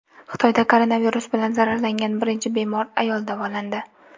Xitoyda koronavirus bilan zararlangan birinchi bemor ayol davolandi.